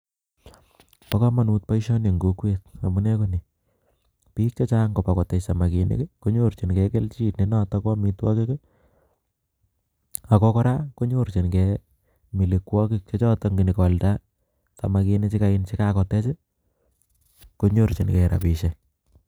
boo komanut baishani eng kokwet amunee konii , biik chechang ko kotech samaginik konorchingek kelchi ne notok koo amitwagik ago koraa konyochingel melwagik che chotok ngo nyoo kwoldaa konrchin gel rabishek